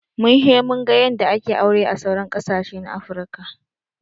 Mun he mun ga yanda ake aure a sauran ƙasashe na afruka